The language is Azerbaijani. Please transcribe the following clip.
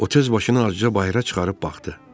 O tez başını acıca bayıra çıxarıb baxdı.